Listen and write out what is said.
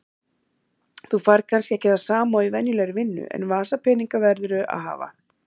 Þú færð kannski ekki það sama og í venjulegri vinnu en vasapeninga verðurðu að hafa.